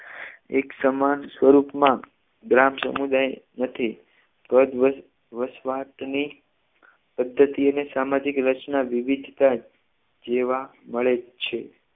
એક સમાન સ્વરૂપમાં ગ્રામ સમુદાય નથી વસ વસ વસવાટની પદ્ધતિ અને સામાજિક રચના વિવિધતા જોવા મળે છે